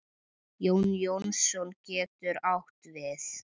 Jón Jónsson getur átt við